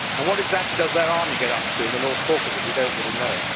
And what exactly does their army get up to in the North Caucasus? We do not really know.